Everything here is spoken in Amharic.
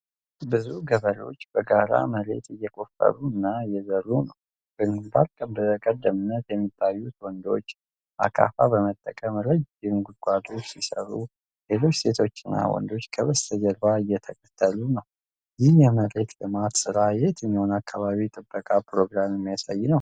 ብዙ ገበሬዎች በጋራ መሬት እየቆፈሩ እና እየዘሩ ነው። በግንባር ቀደምትነት የሚታዩት ወንዶች አካፋ በመጠቀም ረጅም ጉድጓዶች ሲሰሩ፣ ሌሎች ሴቶችና ወንዶች ከበስተጀርባ እየተከሉ ነው። ይህ የመሬት ልማት ሥራ የትኛውን የአካባቢ ጥበቃ ፕሮግራም የሚያሳይ ይሆን?